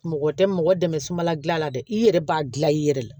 Mɔgɔ tɛ mɔgɔ dɛmɛ sumala gilan la dɛ i yɛrɛ b'a gilan i yɛrɛ la